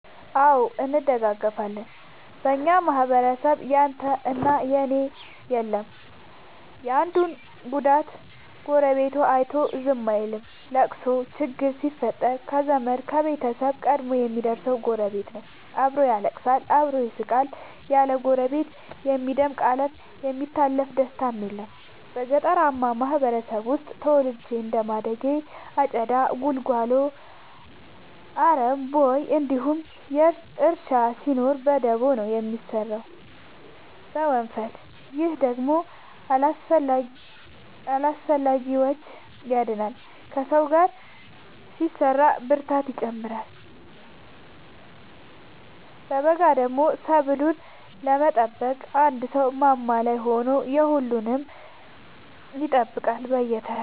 አዎ እንደጋገፋለን በኛ ማህበረሰብ ያንተ እና የኔ የለም የአንዱን ጉዳት ጎረቤቱ አይቶ ዝም አይልም። ለቅሶ ችግር ሲፈጠር ከዘመድ ከቤተሰብ ቀድሞ የሚደር ሰው ጎረቤት ነው። አብሮ ያለቅሳል አብሮ ይስቃል ያለ ጎረቤት የሚደምቅ አለም የሚታለፍ ደስታም የለም። ገጠርአማ ማህበረሰብ ውስጥ ተወልጄ እንደማደጌ አጨዳ ጉልጎሎ አረም ቦይ እንዲሁም እርሻ ሲኖር በደቦ ነው የሚሰራው በወንፈል። ይህ ደግሞ ከአላስፈላጊዎቺ ያድናል ከሰው ጋር ሲሰራ ብርታትን ይጨምራል። በገዳደሞ ሰብሉን ለመጠበቅ አንድ ሰው ማማ ላይ ሆኖ የሁሉም ይጠብቃል በየተራ።